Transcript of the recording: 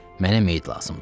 Mənə meyid lazımdır.